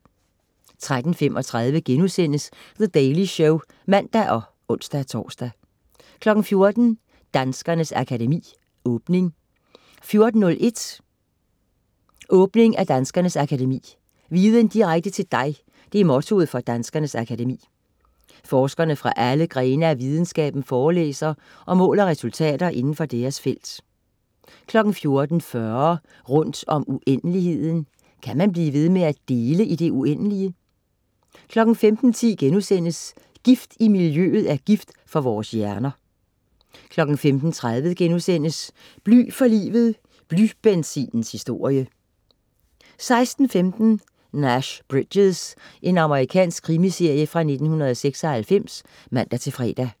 13.35 The Daily Show* (man og ons-tors) 14.00 Danskernes Akademi - Åbning 14.01 Åbning af Danskernes Akademi. Viden direkte til dig, det er mottoet for Danskernes Akademi. Forskere fra alle grene af videnskaben forelæser om mål og resultater inden for deres felt 14.40 Rundt om uendeligheden. Kan man blive ved med at dele i det uendelige? 15.10 Gift i miljøet er gift for vores hjerner* 15.30 Bly for livet, blybenzinens historie* 16.15 Nash Bridges. Amerikansk krimiserie fra 1996 (man-fre)